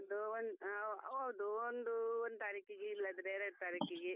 ಹೌದು ಹಾ ಹೌದು ಒಂದು one ತಾರೀಕಿಗೆ ಇಲ್ಲಾದ್ರೆ ಎರಡ್ ತಾರೀಕಿಗೆ .